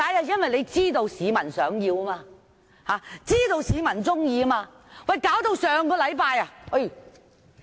因為他們知道市民想要，知道市民喜歡。